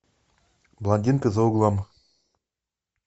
блондинка за углом